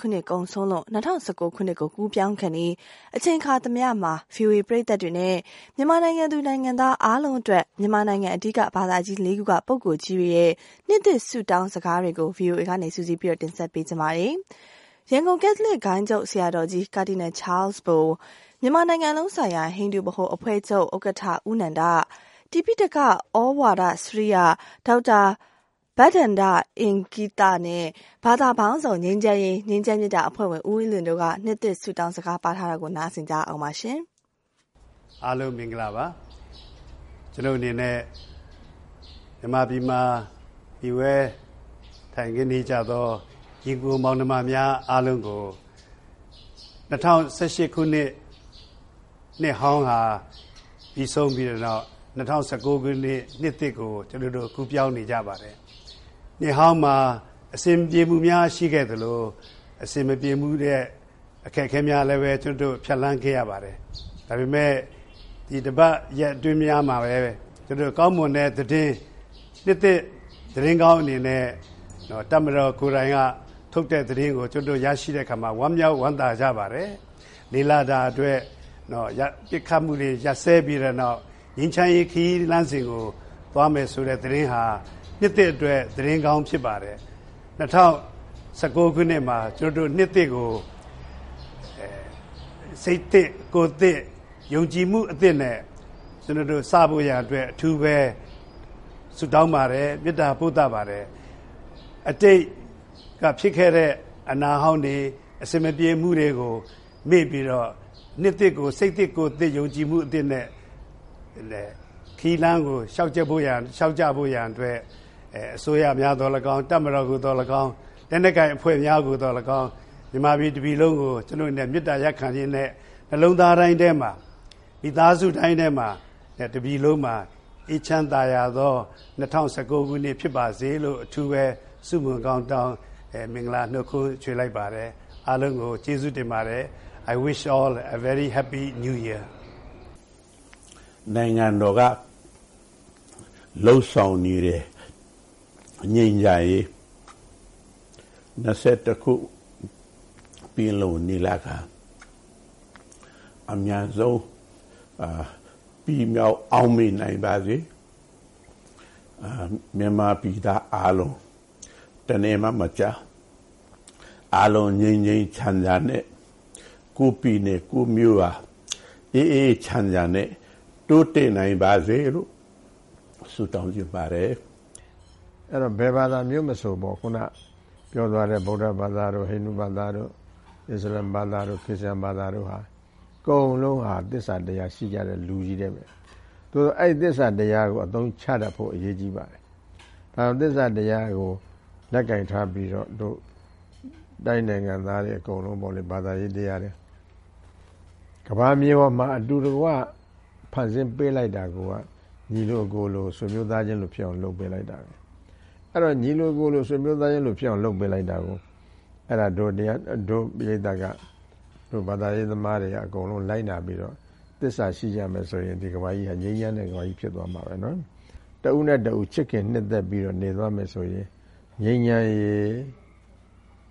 ခုနှစ်ကုန်ဆုံးလို့ ၂၀၁၉ ခုနှစ်ကို ကူးပြောင်းခါနီး အခါသမယမှာ ဗွီအိုအေပရိသတ်များနဲ့ မြန်မာနိုင်ငံသူ နိုင်ငံသားအားလုံးအတွက် မြန်မာနိုင်ငံ အဓိက ဘာသာကြီးလေးခုမှ ပုဂ္ဂိုလ်ကြီးများရဲ့ နှစ်သစ်ဆုတောင်းစကားများကို ဗွီအိုအေက စုစည်း တင်ဆက်ပေးလိုက်ပါတယ်။ ရန်ကုန် ကက်သလစ် ဂိုဏ်းချုပ်ဆရာတော်ကြီး ကာဒီနယ်ချားလ်စ်ဘို ၊ မြန်မာနိုင်ငံလုံးဆိုင်ရာ ဟိန္ဒူဗဟိုအဖွဲ့ချုပ် ဦး နန္ဒ ၊ တိပိဋကသြဝါဒစရိယက ဒေါက်တာဘဒ္ဒန ္တအင်္ဂ ိသ နဲ့ ဘာသာပေါင်းစုံ ငြိမ်းချမ်းရေး အဖွဲ့ဝင် ဦးအေးလွင် တို့က နှစ်သစ်စကားပါးထားတာကို နားဆင်ရအောင်ပါ။ ရန်ကုန် ကက်သလစ် ဂိုဏ်းချုပ်ဆရာတော်ကြီး ကာဒီနယ်ချားလ်စ်ဘိုက အားလုံး မင်္ဂလာပါ ကျနော့်အနေနဲ့ မြန်မာပြည်မှာ မှီတင်းနေထိုင်ကြသော ညီအကို မောင်နှမများအားလုံးကို ၂၀၁၈ ခုနှစ် နှစ်ဟောင်းပြီးဆုံးပြီးတဲ့နောက် ၂၀၁၉ ခုနှစ် နှစ်သစ်ကို ကူးပြောင်းနေကြပါတယ်။ နှစ်ဟောင်းမှာ အဆင်မပြေမှုများ ရှိခဲ့သလို၊ အဆင်မပြေမှုအခက်အခဲများလည်း ကျနော်တု့ိ ဖြတ်သန်းခဲ့ရပါတယ်။ ဒါပေမယ့် ဒီတပတ် ရက်အတွင်းမှာပဲ ကျနော်တို့ ကောင်းမွန်တဲ့သတင်း နှစ်သစ် သတင်းကောင်းအနေနဲ့ တပ်မတော်ကိုယ်တိုင် ထုတ်တဲ့သတင်းကို ရရှိတဲ့အခါမှာ ကျနော်တို့ ဝမ်းသာဝမ်းမြောက်ကြပါတယ်။ ၄ လ ပစ်ခတ်မှုတွေ ရပ်စဲပြီးတဲ့နောက် ငြိမ်းချမ်းရေးခရီးလစ်းစဉ်ကို သွားမယ်ဆိုတဲ့သတင်းဟာ နှစ်သစ်အတွက် သတင်းကောင်းဖြစ်ပါတယ်။ ၂၀၁၉ ခုနှစ်မှာ နှစ်သစ်ကို စိတ်သစ် ကိုယ်သစ် ၊ ယုံကြည်မှု အသစ်နဲ့ ကျနော်တို့ စဖို့ရန်အတွက် အထူးဆုတောင်းပါတယ်၊ မေတ္တာ ပို့သပါတယ်။ အတိတ်က ဖြစ်ခဲ့တဲ့ အနာဟောင်းတွေ ၊ အဆင်မပြေမှုတွေကို မေ့ပြီးတော့ နှစ်သစ်ကို စိတ်သစ် ကိုယ်သစ် ၊ ယုံကြည်မှု အသစ်နဲ့ ခရီးလမ်းကို လျောက်ကြဖို့ရန်အတွက် အစိုးရသော်လည်းကောင်း၊ တပ်မတော် ကိုသော်လည်းကောင်း၊ လက်နက်ကိုင်အဖွဲ့များကို သော်လည်းကောင်း၊ မြန်မာပြည်တပြည်လုံးကို ကျနော့်အနေနဲ့ မေတ္တာရပ်ခံရင်းနဲ့ နှစ်လုံးသားတိုင်းထဲမှာ မိသားစုတိုင်းထဲမှာ တပြည်လုံးမှာ အေးချမ်းသာယာသော ၂၀၁၉ ခုနှစ်ဖြစ်ပါစေလို့ အထူးဆုမွန်ကောင်းတောင်း မင်္ဂလာနှတ်ခွန်းဆက်လိုက်ပါတယ် အားလုံးကို ကျေးဇူးတင်ပါတယ်။ I wish all a very Happy New Year မြန်မာနိုင်ငံလုံးဆိုင်ရာ ဟိန္ဒူဗဟိုအဖွဲ့ချုပ် ဦး နန္ဒ က “ နိုင်ငံတော်က လုပ်ဆောင် နေတဲ့ ငြိမ်းချမ်းရေး ၂၁ ရာစုပင်လုံညီလာခံ အမြန်ဆုံးပြီး မြောက်အောင်မြင်နိုင်ပါစေ။ မြန်မာပြည်သားအားလုံး တနယ်မှ မကျန်အားလုံး ငြိမ်းငြိမ်းချမ်းချမ်းနဲ့ ကိုယ့်ပြည်နယ် ကိုယ့်မြို့က အေးအေးချမ်းချမ်းနဲ့ တိုးတက်နိုင်ပါစေလို့ ဆုတောင်းချင်ပါတယ်။ တိပိဋကသြဝါဒစရိယက ဒေါက်တာဘဒ္ဒန ္တအင်္ဂ ိသ က တော့ “ အဲဒီတော့ ဘယ်ဘာသာမျိုးမဆို ခုနပြောသွားတဲ့ ဗုဒ္ဒဘာသာ တို့ ဟိန္ဒူဘာသာတို့ မွတ်ဆလင်ဘာသာတို့ အစ္စလာမ်ဘာသာတို့ ခရစ်ယာန်ဘာသာတို့ အကုန်လုံးဟာ သစ္စာတရားရှိကြတဲ့လူတွေနဲ့ ပဲ ။ အဲဒီ သစ္စာတရားကို အသုံးချတတ်ဖို့ အရေးကြီးပါတယ်။ နောက်ပြီး သစ္စာတရားကို လက်ကိုင်ထားပြီးတော့ နိုင်ငံသားတွေအကုန်လုံးပေါ့လေ ဘာသာတရားတွေ ကမ္ဘာမြေပေါ်မှာ အတူတကွ ဖန်ဆင်းပေးလိုက်တာကိုယ်က ညီလိုအကိုလို ဆွေမျိုးသားချင်းလိုဖြစ်အောင် လုပ်ပေးလိုက်တာပဲ။ ညီလိုအကိုလို ဆွေမျိုးသားချင်းလိုဖြစ်အောင် လုပ်ပေးလိုက်တာ ကိုက တို့ ပရိတ်သတ်က ဘာသာရေးသမားတွေက အကုန်လုံးကို လိုက်နာပြီးတော့ သစ္စာရှိကြမယ်ဆိုရင် ဒီကမ္ဘာကြီးဟာ ငြိမ်းချမ်းတဲ့ ကမ္ဘာကြီး ဖြစ်သွားမှာပဲ ။ တဦးနဲ့ တဦး ချစ်ခင်နှစ်သက်ပြီးတော့ နေသွားမယ်ဆိုရင် ငြိမ်းချမ်းရေး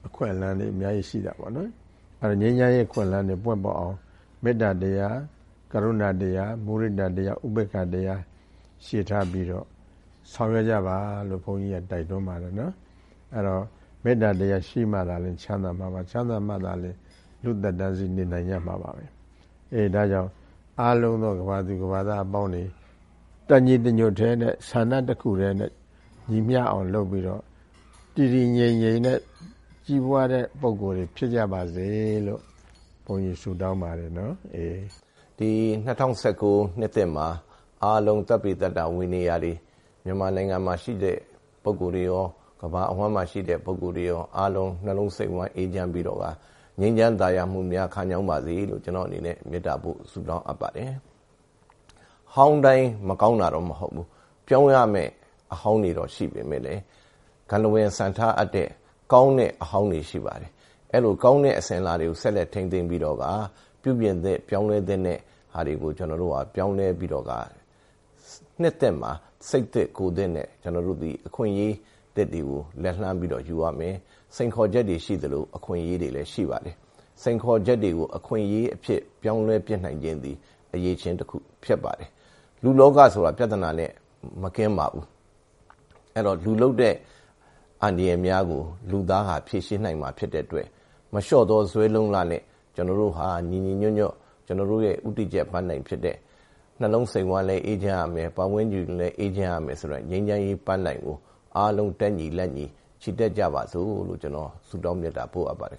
အခွင့်အလမ်းတွေ အများကြီးရှိတာပေါ့နော်။ ငြိမ်းချမ်းရေးအခွင့်အလမ်းတွေ ပွင့်လာအောင် မေတ္တာတရား ဂရုဏာတရား မုဒိတာတရား ဥပက္ခာတရား တွေထားပြီးတော့ ဆောင်ရွက်ကြပါလို့ ဘုန်းကြီးက တိုက်တွန်းပါတယ်။ အဲဒီတော့ မေတ္တာတရား ရှိမှ ချမ်းသာမှာပါ၊ ချမ်းသာမှ လူ့သက်တမ်းစေ့နေနိုင်ကြမှာပါ။ ဒါကြောင့် အားလုံးသော ကမ္ဘာသူ ကမ္ဘာသားအပေါင်းတွေ တညီတညွှတ်ထဲနဲ့ ဆန္ဒတခုတည်းနဲ့ ညီမျှအောင်လုပ်ပြီးတော့ တည်တည်ငြိမ်ငြိမ်နဲ့ ကြီးပွားတဲ့ ပုဂ္ဂိုလ် တွေဖြစ်ကြပါစေလို့ ဘုန်းကြီး ဆုတောင်းပါတယ်။” ဘာသာပေါင်းစုံ ငြိမ်းချမ်းရေး အဖွဲ့ဝင် ဦးအေးလွင် “ဒီ ၂၀၁၉ နှစ်သစ်မှာ အားလုံးမြန်မာနိုင်ငံမှာ ရှိတဲ့ ပုဂ္ဂိုလ် တွေရော ကမ္ဘာအဝှမ်းမှာရှိတဲ့ပုဂ္ဂိုလ် တွေရော အားလုံး နှစ်လုံးစိတ်ဝှမ်း အေးချမ်းပြီးတော့ ငြိမ်းချမ်းသာယာပါစေလို့ ကျနော့်အနေနဲ့ မေတ္တာပို့ ဆုတောင်းပါတယ်။ဟောင်းတိုင်း မကောင်းတာတော့မဟုတ်ဘူး။ ပြောင်းရမယ့်အဟောင်းတွေတော့ရှိတယ် ဒါပေမယ့်လည်း စံထားအပ်တဲ့ ကောင်းတဲ့အဟောင်းတွေရှိပါတယ်။ အဲလို ကောင်းတဲ့ အစဉ်အလာတွေကို ဆက်လက်ထိန်းသိမ်းပြီးတော့ ပြုပြင်သင့် ပြောင်းလဲသင့်တဲ့ ဟာတွေကို ပြောင်းလဲပြီးတော့ နှစ်သစ်မှာ စိတ်သစ် ကိုယ်သစ်နဲ့ ကျနော်တို့သည် အခွင့်အရေးသစ်တွေကို လက်လှမ်းပြီးတော့ ယူရမယ် စိန်ခေါ်ချက်တွေကို ရှိသလို အခွင့်အရေးတွေလည်းရှိပါတယ်။ စိန်ခေါ်ချက်တွေကို အခွင့်အရေးအဖြစ် ပြောင်းလဲပစ်နိုင်ခြင်းသည် အရည်အချင်းတခုဖြစ်ပါတယ်။ လူ့လောကဆိုတာ ပြဿနာနဲ့ မကင်းပါဘူး။ အဲဒီတော့ လူလုပ်တဲ့ အန္တရာယ်များ ကို လူသားဟာ ဖြေရှင်းနိုင်မှာ ဖြစ်တဲ့အတွက် မလျော့သော ဇွဲလုံလနဲ့ ကျနော်တို့ဟာ ညီညီညွှတ်ညွတ်နဲ့ ကျနော်တို့ ဦးတည်ချက် ပန်းတိုင်ဖြစ်တဲ့ နှလုံးစိတ်ဝမ်းလည်းအေးချမ်းရမယ်၊ ပတ်ဝန်းကျင်လည်း အေးချမ်းရမယ် ဆိုတာ ငြိမ်းချမ်းရေးပန်းတိုင်ကို အားလုံး တက်ညီလက်ညီ ချီတက်ကြပါစို့လို့ ကျနော် ဆုတောင်းမေတ္တာပို့အပ်ပါတယ်